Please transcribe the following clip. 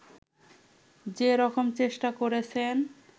যেরকম চেষ্টা করেছেন